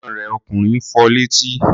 Ẹ̀gbọ́n rẹ̀ ọkùnrin fọ létí?